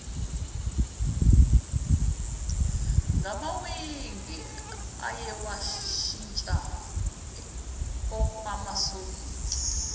ngamawigi ayewashintsha okwamasokisi